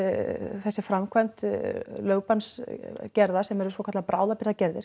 þessi framkvæmd lögbannsgerða sem eru svo kölluð